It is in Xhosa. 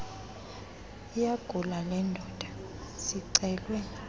iyagula lendoda sicelwe